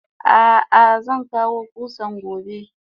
Ah ah zankawo kusan gobe.